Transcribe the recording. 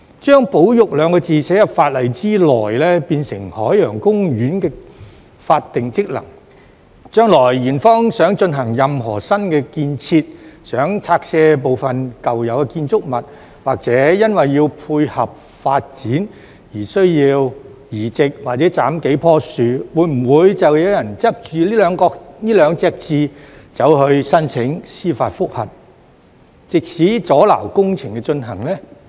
將"保育"兩個字寫入法例內，變成海洋公園的法定職能，將來園方想進行任何新建設、想拆卸部分舊有的建築物，或因為要配合發展而需要移植或斬數棵樹，會否就有人執着於這兩個字去申請司法覆核，藉此阻撓工程進行呢？